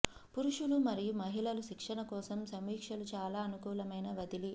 పురుషులు మరియు మహిళలు శిక్షణ కోసం సమీక్షలు చాలా అనుకూలమైన వదిలి